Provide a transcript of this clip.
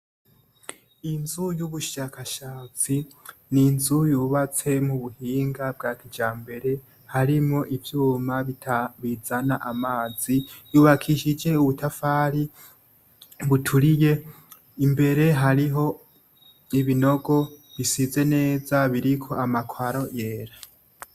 Inzu y'ubushakashatsi, ni inzu yubatse mububuhinga bwa kijambere harimwo ivyuma bizana amazi, yubakishije ubutafari buturiye imbere hariho ibinogo bisize neza biriko amakaro yera.